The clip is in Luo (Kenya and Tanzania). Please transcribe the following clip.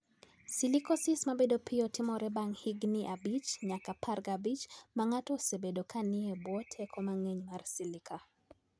Silicosis ma bedo piyo timore bang ' higini 5 nyaka 15 ma ng'ato osebedo ka ni e bwo teko mang'eny mar silica.